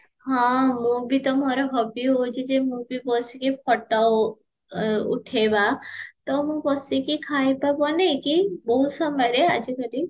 ହଁ ମୁଁ ବି ତମର hobby ହଉଚିଯେ ମୁଁ ବି ବସିକି photo ଉଠେଇବା ତ ମୁଁ ବସିକି ଖାଇବା ବନେଇକି ବହୁତ ସମୟରେ